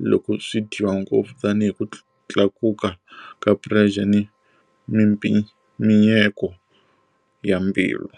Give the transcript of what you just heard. loko swi dyiwa ngopfu tanihi ku tlakuka ka pressure mimpimanyeto ya mbilu.